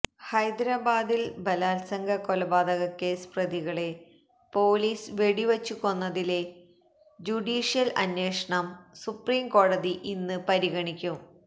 ഹൈദരാബാദില് ബലാത്സംഗ കൊലപാതകക്കേസ് പ്രതികളെ പൊലീസ് വെടിവച്ചു കൊന്നതിലെ ജുഡീഷ്യല് അന്വേഷണം സുപ്രീംകോടതി ഇന്ന് പരിഗണിക്കും